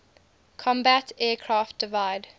combat aircraft divide